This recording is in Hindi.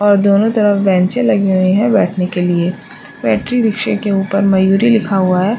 और दोनों तरफ बेैनचे लगी हुई हैं बैठने के लिए बैटरी रिक्शे के उप्पर मयूरी लिखा हुआ है।